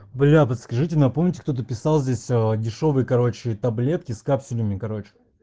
бля да скажите напомните кто-то писал здесь ээ дешёвые короче таблетки с капсулями короче